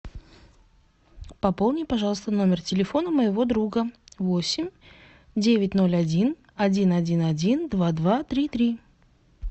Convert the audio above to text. пополни пожалуйста номер телефона моего друга восемь девять ноль один один один один два два три три